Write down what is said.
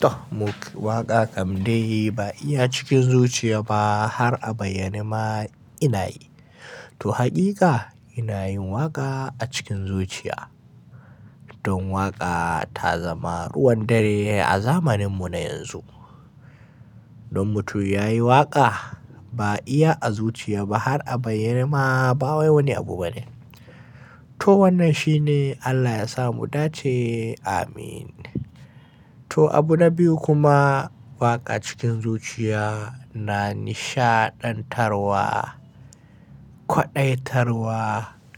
To waƙa kam dai ba iya cikin zuciya ba har a bayyane ma ina yi. To haƙiƙa ina yin waƙa a cikin zuciya. Don waƙa ta zama ruwan dare a zamaninmu na yanzu. Dan mutum yayi waƙa ba iya a zuciya ba har a bayyane ma ba wai wani abu bane. To wannan shine Allah ya sa mu dace. Amin. To abu na biyu kuma waƙa cikin zuciya na nishaɗantarwa, kwaɗaitarwa,